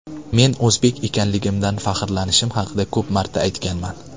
Men o‘zbek ekanligimdan faxrlanishim haqida ko‘p marta aytganman.